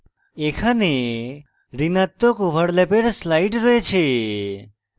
এখানে ঋণাত্মক ওভারল্যাপের slide রয়েছে